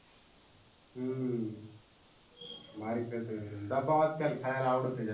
हम्म भारी खेळतय दबावात त्याला खेळायला आवडतं जास्त.